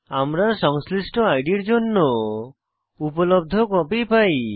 আমরা সংশ্লিষ্ট আইডির জন্য উপলব্ধ কপি পাই